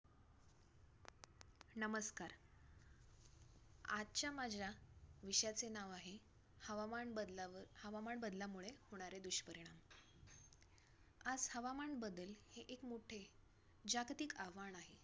नमस्कार! आजच्या माझ्या विषयाचे नाव आहे, हवामान बदलावव हवामान बदलामुळे होणारे दुष्परिणाम. आज हवामान बदल हे एक मोठे जागतिक आव्हान आहे.